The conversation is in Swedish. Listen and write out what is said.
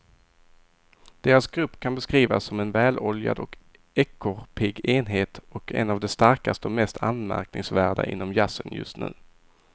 Deras grupp kan beskrivas som en väloljad och ekorrpigg enhet och en av de starkaste och mest anmärkningsvärda inom jazzen just nu.